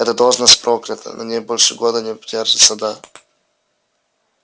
эта должность проклята на ней больше года не держатся да